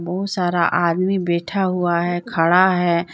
बहुत सारा आदमी बैठा हुआ है खड़ा है।